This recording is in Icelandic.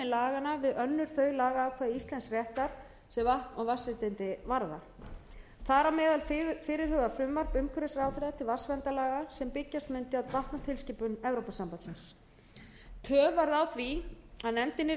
laganna við önnur þau lagaákvæði íslensks réttar sem vatn og vatnsréttindi varða þar á meðal fyrirhugað frumvarp umhverfisráðherra til vatnsverndarlaga sem byggjast mundi á vatnatilskipun evrópusambandsins töf varð á því að nefndin yrði